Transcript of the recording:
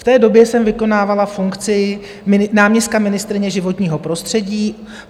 V té době jsem vykonávala funkci náměstka ministryně životního prostředí.